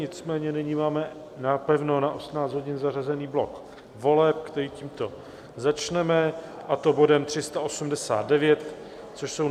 Nicméně nyní máme napevno na 18 hodin zařazený blok voleb, který tímto začneme, a to bodem 389, což je